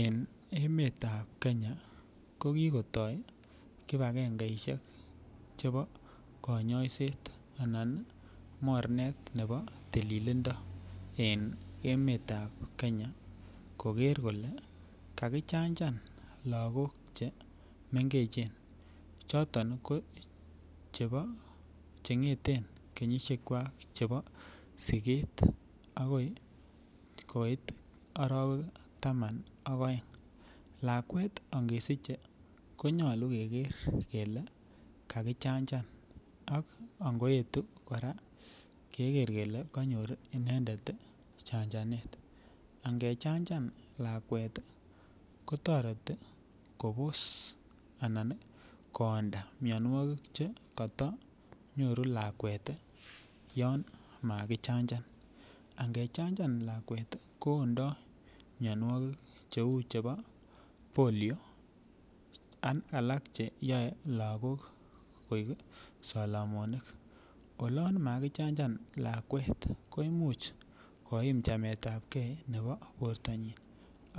En emetab kenya ko kikotoi kipakengeisiek che bo kanyoiset anan mornet ne bo tililindo en emetab kenya koker kole kakijanjan lagok chemengechen choton ko chebo cheng'eten kenyisiekwak che bo siket akoi koit arawek taman ak aeng. Lakwet angesiche konyolu keker kele kakijanjan ak ngoetu kora keker kele kanyor inendet janjanet, angejanja lakwet kotoreti kobos anan koonda mianwogik che koto nyoru lakwet yon makijanjan angejanjan lakwet koondo mianwogik cheu chebo polio ak alak cheyoe lakok koik salamonik olon makijanjan lakwet ko imuch koim chametab gee ne bo bortanyin